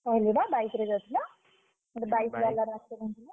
କହିଲି ବା bike ରେ ଯାଉଥିଲା। ଗୋଟେ bike ବାଲାର accident ହେଲା।